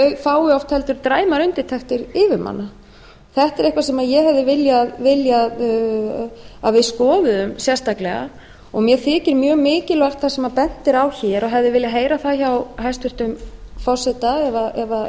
fái oft heldur dræmar undirtektir yfirmanna þetta er eitthvað sem ég hefði viljað að við skoðuðum sérstaklega og mér þykir mjög mikilvægt sem bent er á hér og hefði viljað heyra það hjá hæstvirtum forseta ef